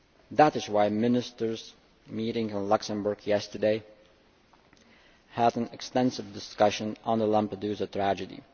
That is why Ministers meeting in Luxembourg yesterday had an extensive discussion on the Lampedusa tragedy.